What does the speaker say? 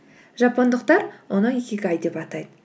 жапондықтар оны икигай деп атайды